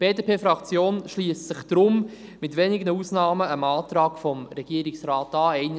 Die BDP-Fraktion schliesst sich deswegen, mit wenigen Ausnahmen, dem Antrag des Regierungsrates an.